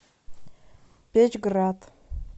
печьград